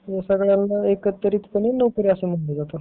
सगळ्यांना एकत्रितपणे नोकरी अस म्हंटल जात